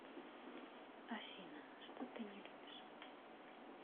афина что ты не любишь